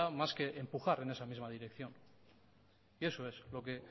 más que empujar en esa misma dirección y eso es lo que